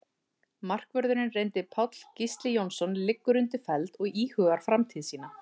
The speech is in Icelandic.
Markvörðurinn reyndi Páll Gísli Jónsson liggur undir feld og íhugar framtíð sína.